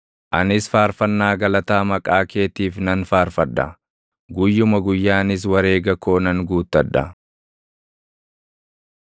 Anis faarfannaa galataa maqaa keetiif nan faarfadha; guyyuma guyyaanis wareega koo nan guuttadha.